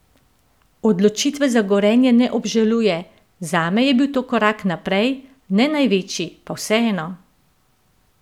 Odločitve za Gorenje ne obžaluje: 'Zame je bil to korak naprej, ne največji, pa vseeno.